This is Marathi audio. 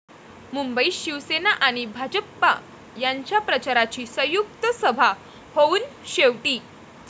मुंबईत शिवसेना आणि भाजपा यांच्या प्रचाराची संयुक्त सभा होऊन शेवटी